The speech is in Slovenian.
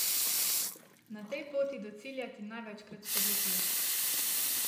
Na tej poti do cilja ti največkrat spodleti.